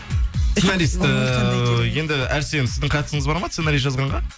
сценаристі енді әрсен сіздің қатысыңыз бар ма сценарий жазғанға